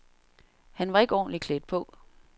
Han var ikke ordentlig klædt på.